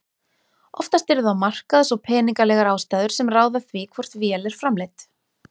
Oftast eru það markaðs- og peningalegar ástæður sem ráða því hvort vél er framleidd.